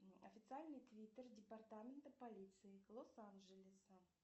официальный твиттер департамента полиции лос анджелеса